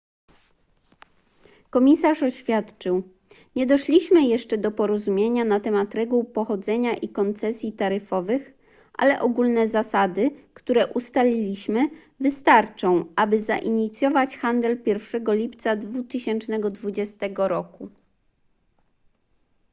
komisarz oświadczył nie doszliśmy jeszcze do porozumienia na temat reguł pochodzenia i koncesji taryfowych ale ogólne zasady które ustaliliśmy wystarczą aby zainicjować handel 1 lipca 2020 roku